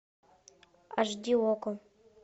аш ди окко